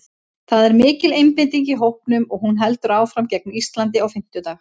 Það er mikil einbeiting í hópnum og hún heldur áfram gegn Íslandi á fimmtudag.